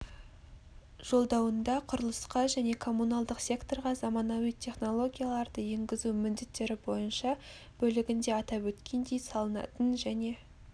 жолдауында құрылысқа және коммуналдық секторға заманауи технологияларды енгізу міндеттері бойынша бөлігінде атап өткендей салынатын және